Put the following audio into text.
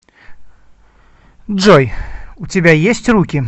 джой у тебя есть руки